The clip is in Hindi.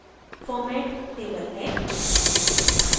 format table है